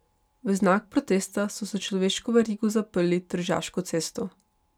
V znak protesta so s človeško verigo zaprli Tržaško cesto.